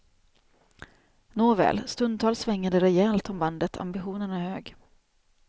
Nåväl, stundtals svänger det rejält om bandet, ambitionen är hög.